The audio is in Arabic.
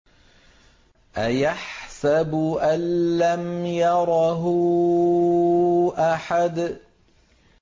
أَيَحْسَبُ أَن لَّمْ يَرَهُ أَحَدٌ